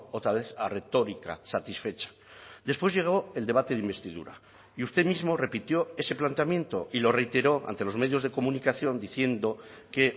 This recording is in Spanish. otra vez a retórica satisfecha después llegó el debate de investidura y usted mismo repitió ese planteamiento y lo reiteró ante los medios de comunicación diciendo que